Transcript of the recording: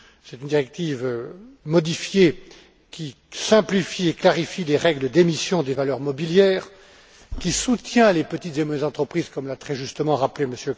C'est une directive modifiée qui simplifie et clarifie les règles d'émission des valeurs mobilières, qui soutient les petites et moyennes entreprises, comme l'a très justement rappelé M.